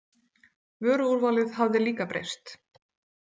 Vöruúrvalið hafði líka breyst.